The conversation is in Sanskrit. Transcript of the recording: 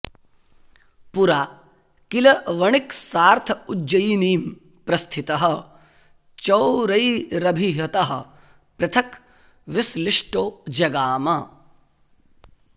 पुरा किल वणिक्सार्थ उज्जयिनीं प्रस्थितः चौरैरभिहतः पृथक् विश्लिष्टो जगाम